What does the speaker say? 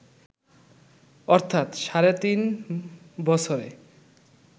অর্থাৎ সাড়ে তিন বছরে